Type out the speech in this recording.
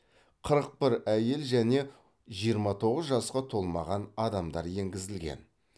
қырық бір әйел және жиырма тоғыз жасқа толмаған адамдар енгізілген